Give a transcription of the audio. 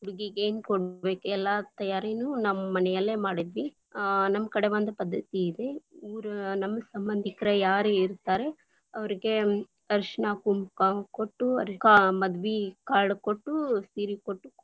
ಹುಡುಗಿಗೆ ಏನು ಕೊಡ್ಬೇಕ ಎಲ್ಲಾ ತಯಾರಿನೂ ನಮ್ಮ ಮನೆಯಲ್ಲೇ ಮಾಡಿದ್ವಿ, ಆ ನಮ್ ಕಡೆ ಒಂದ್ ಪದ್ಧತಿ ಇದೆ, ಊರ ನಮ್ಮ ಸಂಬಂಧಿಕರ ಯಾರ ಇರ್ತಾರೆ ಅವ್ರ್ಗೆ ಅರಿಶಿನ ಕುಂಕಾ ಕೊಟ್ಟು, ಅವ್ರಿಗ ಮದ್ವೀ card lang:Foreign ಕೊಟ್ಟು ಸೀರಿ ಕೊಟ್ಟು.